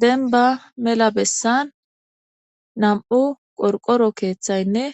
Denba mela bessan nam7u qorqoro keeththaynne